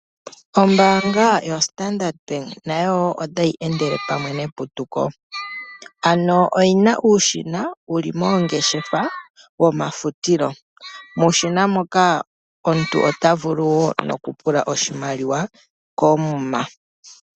Ombaanga yoStandard bank nayo wo otayi endele pamwe neputuko ano oyina uushina wo li mongeshefa ,muushina muka omuntu ota vulu wo noku pula oshimaliwa koomuma.